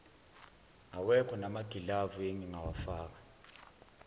awekho namagilavu engingawafaka